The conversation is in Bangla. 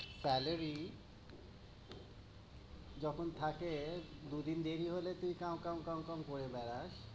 salary যখন থাকে, দুই দিন দেরি হলে তুই কাও কাও কাও কাও করে বেড়াস।